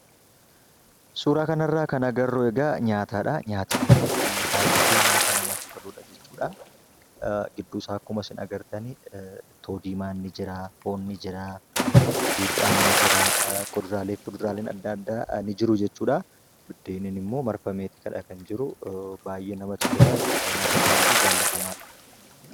Suuraa kana irraa kan agarru egaa nyaatadha. Nyaatni kun baay'ee kan namatti toluudha jechuudha. Gidduu isaa akkuma isin agartan ittoo diimaan ni jira, foonni jira, buuphaan ni jira, kuduraalee fi muduraaleen adda addaa ni jiru jechuudha. Biddeeniin immoo marfameeti kan jiru; baay'ee namatti tola jechuudha. Nyaata baay'ee jaallatamaadha.